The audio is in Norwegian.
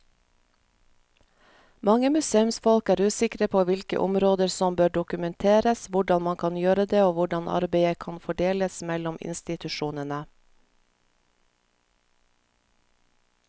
Mange museumsfolk er usikre på hvilke områder som bør dokumenteres, hvordan man kan gjøre det og hvordan arbeidet kan fordeles mellom institusjonene.